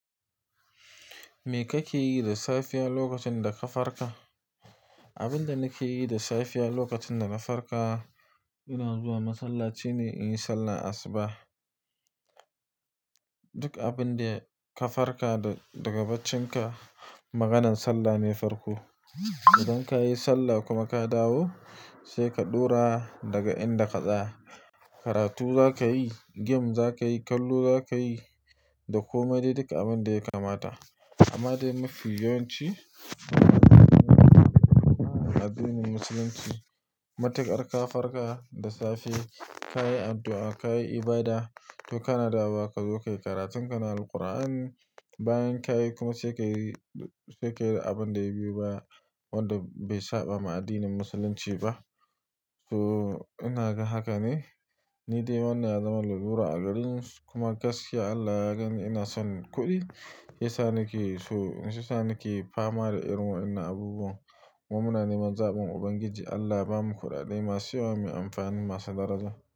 Me kake yi da safiya lokacin da ka farka? Abin da nake yi da safiya lokacin da na farka, ina zuwa masallaci ne in yi sallah asubah. Duk abin da ka farka daga bacinka, maganan sallah ne farko. Idan ka yi sallah kuma ka dawo, sai ka ɗora daga inda ka tsaya. Karatu za ka yi, game za ka yi, kallo za ka yi da koma dai duka abin da ya kamata. Amma dai mafi yawanci a addinin musulunci, matukar ka farka da safe, ka yi addu'a, ka yi ibada toh kana dawowa ka zo ka yi karatun ka na Alqur'ani. Bayan ka yi kuma sai ka yi, sai ka yi abin da ya biyu ba wanda bai saba ma addinin musulunci ba. So ina ga haka ne, ni dai wannan ya zama na lura a gareni kuma gaskiya Allah ya gani ina son kuɗi, ya sa ni ke so, shi ya sa ni ke fama da irin wannan abubuwan. Mummunan iman zaɓin Ubangiji Allah ba mu kuɗaɗe masu yawan mai amfani masu daraja.